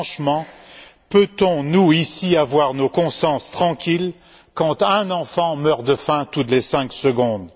Mais, franchement, peut on, nous, ici, avoir la conscience tranquille quand un enfant meurt de faim toutes les cinq secondes?